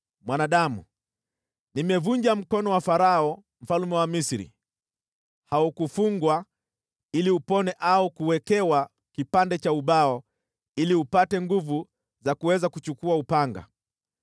“Mwanadamu, nimevunja mkono wa Farao mfalme wa Misri. Haukufungwa ili upone au kuwekewa kipande cha ubao ili upate nguvu za kuweza kuchukua upanga.